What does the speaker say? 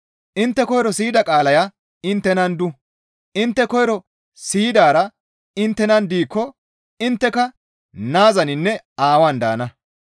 Intte koyro siyida qaalaya inttenan du; intte koyro siyidaara inttenan diikko intteka Naazaninne Aawaan daana.